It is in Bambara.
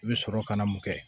I bɛ sɔrɔ ka na mun kɛ